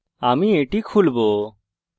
আমি এটি খুলবো